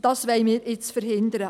Dies wollen wir jetzt verhindern.